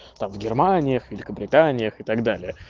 а в германиях великобританиях и так далее